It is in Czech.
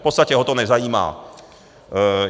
V podstatě ho to nezajímá.